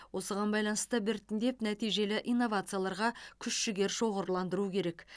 осыған байланысты біртіндеп нәтижелі инновацияларларға күш жігер шоғырландыру керек